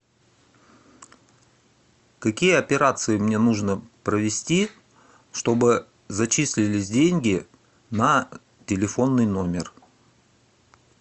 какие операции мне нужно провести чтобы зачислились деньги на телефонный номер